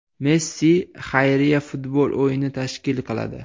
Messi xayriya futbol o‘yini tashkil qiladi.